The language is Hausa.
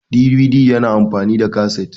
DVD yana amfani da kasit